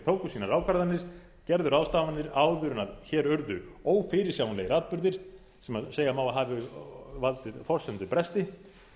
tóku sínar ákvarðanir gerðu ráðstafanir áður en hér urðu ófyrirsjáanlegir atburðir sem segja má að hafi valdið forsendubresti